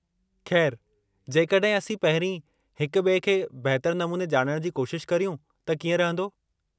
ख़ैर, जेकॾहिं असीं पहिरीं हिक ॿिए खे बहितरु नमूने ॼाणणु जी कोशिश करियूं त कीअं रहिंदो?